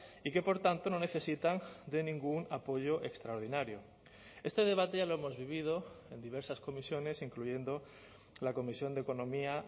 y que por tanto no necesitan de ningún apoyo extraordinario este debate ya lo hemos vivido en diversas comisiones incluyendo la comisión de economía